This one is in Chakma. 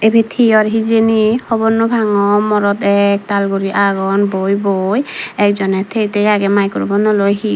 ibet hi or hijeni hobor naw pangor morot ektal guri agon boi boi ekjoney tiye tiye agey maicropunno loi hi.